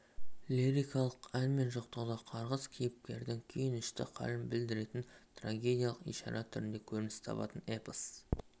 лирикалық ән мен жоқтауда қарғыс кейіпкердің күйінішті халін білдіретін трагедиялық ишара түрінде көрініс табады эпос